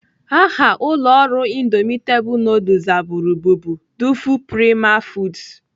Aha ụlọ ọrụ indomitable nudul zaburu bụbu Duful Prima foods.